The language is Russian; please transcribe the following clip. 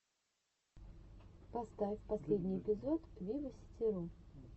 поставь последний эпизод виваситиру